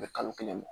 U bɛ kalo kelen bɔ